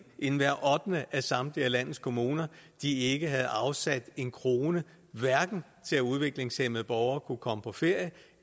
end hver ottende af samtlige landets kommuner ikke havde afsat en krone hverken til at udviklingshæmmede borgere kunne komme på ferie